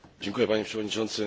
Panie Przewodniczący!